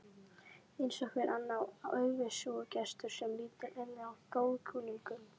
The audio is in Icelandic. Eins og hver annar aufúsugestur sem lítur inn hjá góðkunningjum.